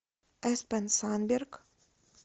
эспен сандберг